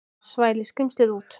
Svæli skrímslið út.